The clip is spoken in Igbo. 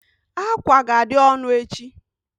Ákwà ga-adị ọnụ echi.